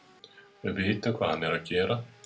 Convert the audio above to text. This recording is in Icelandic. Við vitum hvað hann er að gera.